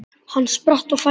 Hann spratt á fætur.